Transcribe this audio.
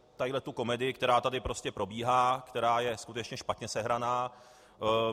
Tuhle komedii, která tady prostě probíhá, která je skutečně špatně sehraná.